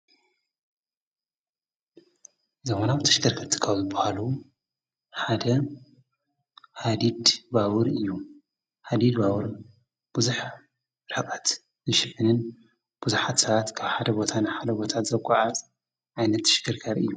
ዘሆናው እዩከርክር ትኻውል ብሃሉ ሓደ ሃዲድ ባውር እዩ ሓዲድዋውር ብዙኅ ራቓት ይሽልንን ብዙሕ ታዓት ካብ ሓደ ቦታን ሓደ ቦታት ዘጐዓዝ ኣይነት ሽገርካር እዩ።